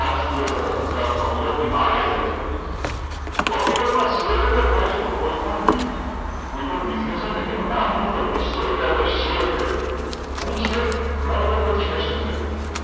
આ શેર એ ગુજરાતમાં ગુજરાત ની બાર પણ થાય છે તોહ હકિતમાં શેર એટલે થાય શું કોઈ પણ business એનો નાનો મોટો હિસો એટલે એને શેર કહેવાય અહી શેર ઘણા બધા